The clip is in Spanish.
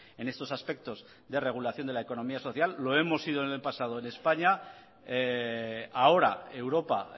en estos aspectos de regulación de la economía social lo hemos sido en el pasado en españa ahora europa